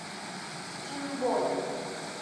стимбой